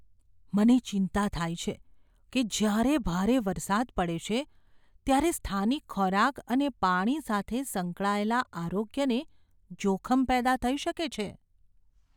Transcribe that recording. મને ચિંતા થાય છે કે જ્યારે ભારે વરસાદ પડે છે ત્યારે સ્થાનિક ખોરાક અને પાણી સાથે સંકળાયેલા આરોગ્યને જોખમ પેદા થઈ શકે છે.